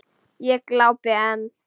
Ég glápi enn.